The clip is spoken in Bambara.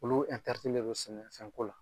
Olu ɛtɛritilen do sɛnɛ fɛn ko la.